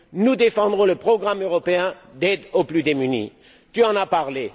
Nous défendons le programme européen d'aide aux plus démunis tu en as parlé.